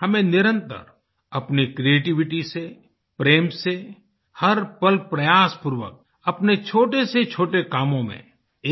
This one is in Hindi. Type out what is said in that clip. हमें निरंतर अपनी क्रिएटिविटी से प्रेम से हर पल प्रयासपूर्वक अपने छोटे से छोटे कामों में